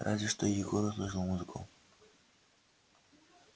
разве что егор услышал музыку